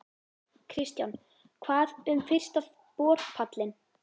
Kristján: Hvað um fyrsta borpallinn?